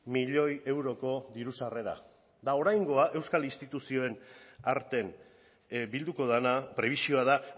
milioi euroko diru sarrera eta oraingoa euskal instituzioen arten bilduko dena prebisioa da